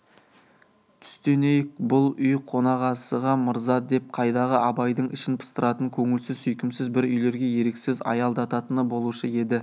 түстенейік бұл үй қонақасыға мырза деп қайдағы абайдың ішін пыстыратын көңілсіз сүйкімсіз бір үйлерге еріксіз аялдататыны болушы еді